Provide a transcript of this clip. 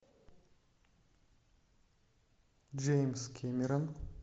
джеймс кэмерон